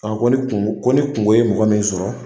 A ko ni kungo ko ni kungo ye mɔgɔ min sɔrɔ